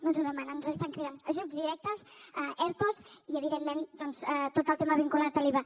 no ens ho demanen ens ho estan cridant ajuts directes ertos i evidentment doncs tot el tema vinculat a l’iva